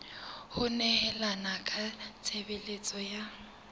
ho nehelana ka tshebeletso ya